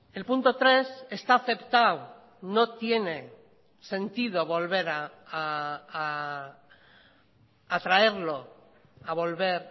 el punto tres está aceptado no tiene sentido volver a traerlo a volver